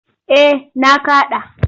Eh na kaɗa.